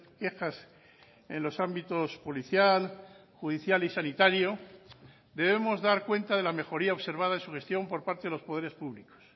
quejas en los ámbitos policial judicial y sanitario debemos dar cuenta de la mejoría observada en su gestión por parte de los poderes públicos